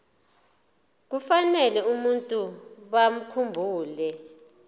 kufanele abantu bakhumbule